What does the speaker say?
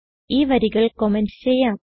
ഈ വരികൾ കമന്റ് ചെയ്യാം